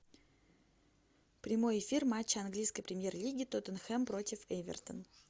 прямой эфир матча английской премьер лиги тоттенхэм против эвертон